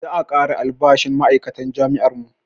Za a ƙara albashin ma'aikatan jami'ar mu